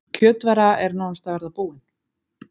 Kjötvara er nánast að verða búin